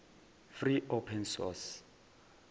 free open source